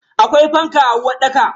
Akwai fanka a uwarɗaka.